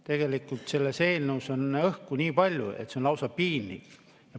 Tegelikult selles eelnõus on õhku nii palju, et see on lausa piinlik.